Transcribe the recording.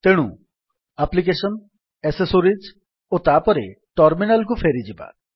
ତେଣୁ ଆପ୍ଲିକେଶନ୍ gtଏସେସୋରିଜ୍ gt ଓ ତାପରେ ଟର୍ମିନାଲ୍ କୁ ଫେରିଯିବା